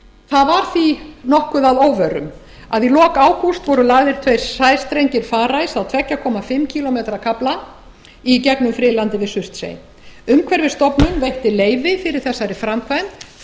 það var því nokkuð að óvörum að í lok ágúst voru lagðir tveir sæstrengir farice á tvö og hálfan kílómetra kafla í gegnum friðlandið við surtsey umhverfisstofnun veitti leyfi fyrir þessari framkvæmd þvert